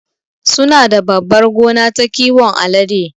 Sunada babbar gona ta kiwon alade